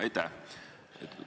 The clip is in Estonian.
Aitäh!